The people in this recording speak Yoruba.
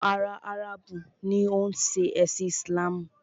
Àwọn ará Áràbù ni o ń ṣe ẹ̀sin Islamu.